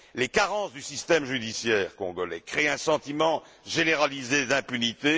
Les carences du système judiciaire congolais créent un sentiment généralisé d'impunité.